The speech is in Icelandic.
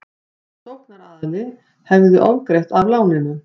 Sóknaraðili hefði ofgreitt af láninu